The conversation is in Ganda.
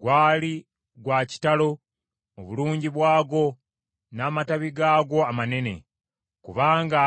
Gwali gwa kitalo mu bulungi bwagwo, n’amatabi gaagwo amanene, kubanga